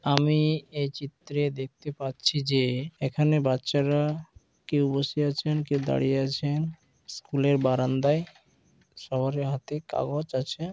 আমি এই চিত্রে দেখতে পাচ্ছি যে এখানে বাচ্চারা কেউ বসে আছেন কেউ দাঁড়িয়ে আছেন স্কুল -এর বারান্দায় সবারই হাতে কাগজ আছে।